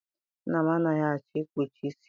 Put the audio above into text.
Nna m anaghị achọ ikpuchi isi ya.